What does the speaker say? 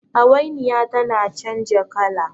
hawainiya tana canja kala